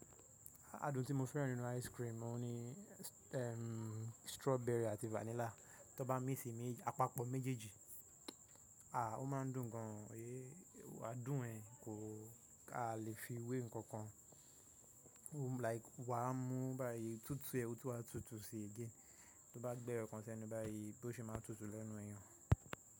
Adùn tí mo fẹ́ràn nínú ice cream, òun ni strawberry àti vanilla. Tó bá mí sì apapọ méjèèjì, à o máa ń dùn gan, adùn ẹ kò, a lè fi wé nǹkan kan. Like wà á mú báyìí, túútú ẹ́, ó tún á tutù sí again. Tó bá gbẹ́ eyo ọ̀ kan sẹ́nu báyìí, bó ṣe máa tutù lẹ́nu èèyàn.